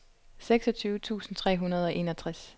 seksogtyve tusind tre hundrede og enogtres